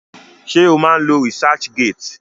Ṣé o má ń lo researchgate?